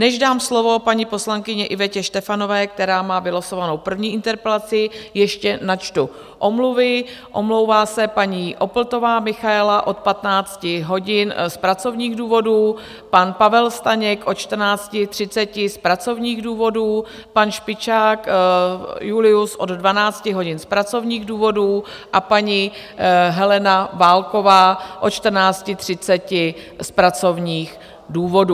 Než dám slovo paní poslankyni Ivetě Štefanové, která má vylosovanou první interpelaci, ještě načtu omluvy: omlouvá se paní Opltová Michaela od 15 hodin z pracovních důvodů, pan Pavel Staněk od 14.30 z pracovních důvodů, pan Špičák Julius od 12 hodin z pracovních důvodů a paní Helena Válková od 14.30 z pracovních důvodů.